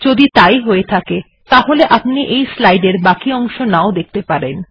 যদি তাই হয়ে থাকে তাহলে আপনি এই স্লাইড এর বাকি অংশ নাও দেখতে পারেন